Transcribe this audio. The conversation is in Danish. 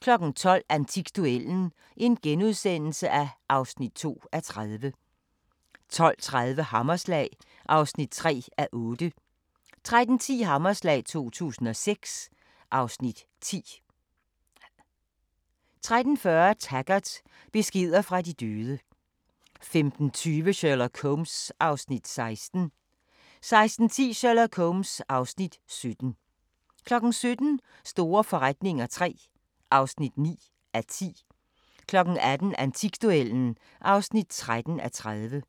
12:00: Antikduellen (2:30)* 12:30: Hammerslag (3:8) 13:10: Hammerslag 2006 (Afs. 10) 13:40: Taggart: Beskeder fra de døde 15:20: Sherlock Holmes (Afs. 16) 16:10: Sherlock Holmes (Afs. 17) 17:00: Store forretninger III (9:10) 18:00: Antikduellen (13:30)